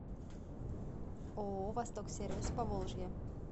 ооо восток сервис поволжье